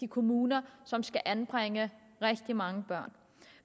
kommuner som skal anbringe rigtig mange børn